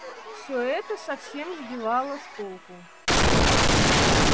всё это совсем сбивало с толку